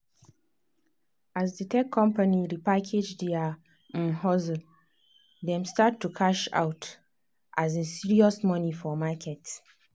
as the tech company repackage their um hustle dem start to cash out um serious money for market.